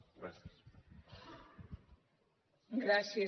gràcies